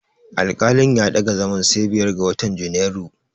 Alƙalin ya ɗaga zaman sai biyar ga watan Junairu.